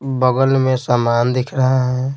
बगल में समान दिख रहा है।